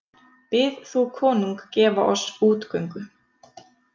Bið þú konung gefa oss útgöngu.